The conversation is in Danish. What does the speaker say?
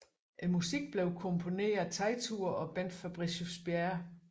Musikken blev komponeret af Teitur og Bent Fabricius Bjerre